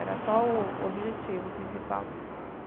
Era só o objetivo principal.